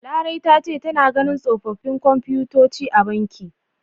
Larai ta ce tana ganin tsofaffin komfutoci a banki.